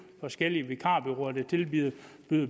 forskellige vikarbureauer der tilbyder